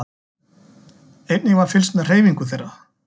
Einnig var fylgst með hreyfingu þeirra